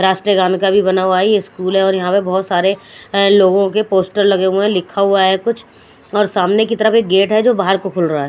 राष्टगान का भी बना हुआ है ये स्कूल है और यहा पे बहोत सारे लोगो के पोस्टर बने हुए है लिखा हुआ है कुछ और सामने की तरफ एक गेट है जो बाहर को खुल रहा है।